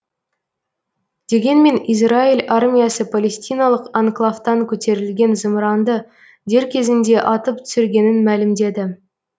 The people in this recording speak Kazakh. дегенмен израиль армиясы палестиналық анклавтан көтерілген зымыранды дер кезінде атып түсіргенін мәлімдеді